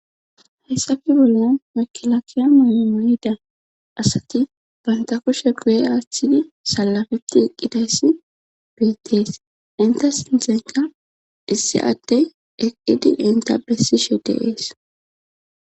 hayssafe bollon mekilakiya moyomoyida asati banta kushe gu7e aaththidi salafetti eqqidayssi beettees inta sintanqa issi adey eqqidi inta bessishe de'ees